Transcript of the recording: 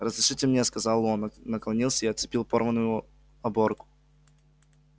разрешите мне сказал он наклонился и отцепил порванную оборку